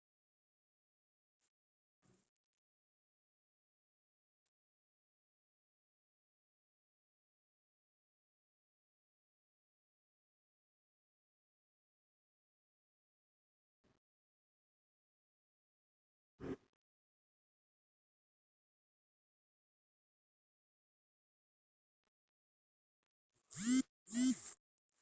foto anụ ọhịa na-achọ ogologo oghere telephoto n'agbanyeghi ihe dika igwe nnụnụ maọbụ obere okike choro oghere ndi ozo